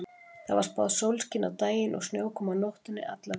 Það var spáð sólskini á daginn og snjókomu á nóttunni alla vikuna.